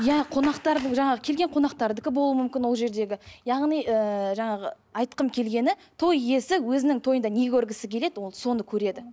иә қонақтардың жаңағы келген қонақтардікі болуы мүмкін ол жердегі яғни ііі жаңағы айтқым келгені той иесі өзінің тойында не көргісі келеді ол соны көреді